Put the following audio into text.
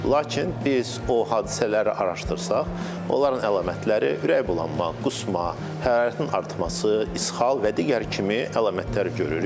Lakin biz o hadisələri araşdırsaq, onların əlamətləri ürəkbulanma, qusma, hərarətin artması, isxal və digər kimi əlamətləri görürük.